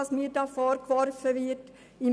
Was mir da vorgeworfen wird, ist dicke Post.